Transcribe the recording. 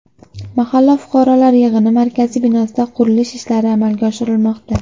Mahalla fuqarolar yig‘ini markazi binosida qurilish ishlari amalga oshirilmoqda.